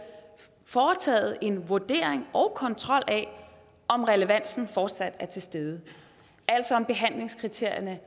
foretaget en vurdering og kontrol af om relevansen fortsat er til stede altså er behandlingskriterierne